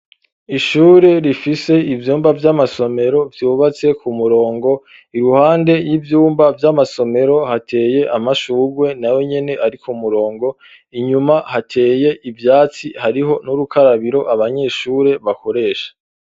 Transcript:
Ishure rifise ivyumba vy'amasomero vyubatse ku murongo iruhande y'ivyumba vy'amasomero hateye amashurwe na ye nyene ari ku murongo inyuma hateye ivyatsi hariho n'urukarabiro abanyeshure bakoresha.